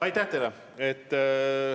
Aitäh teile!